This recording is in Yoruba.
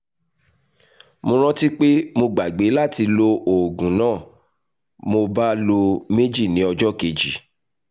mo rántí pé mo gbàgbé láti lo oògùn náà mo bá lo méjì ní ọjọ́ kejì